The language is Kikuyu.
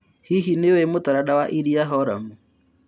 Hihi nĩũi mũtaranda wa iria Horamu ?